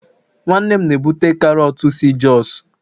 nwannem na-ebute karọt si jos